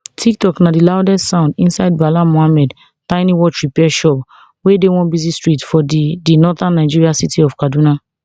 tiktok na di loudest sound inside bala muhammad tiny watchrepair shop wey dey one busy street for di di northern nigerian city of kaduna